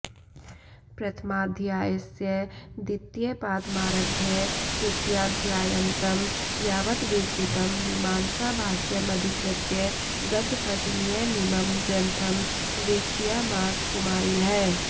प्रथमाध्यायस्य द्वितीयपादमारभ्य तृतीयाध्यायान्तं यावत् विरचितं मीमांसाभाष्यमधिकृत्य गद्यपद्यमयमिमं ग्रन्थं विरचयामास कुमारिलः